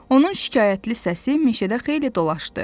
Onun şikayətli səsi meşədə xeyli dolaşdı.